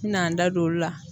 N mina n da don olu la.